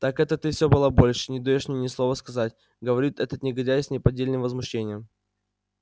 так это ты всё балаболишь и не даёшь мне ни слова сказать говорит этот негодяй с неподдельным возмущением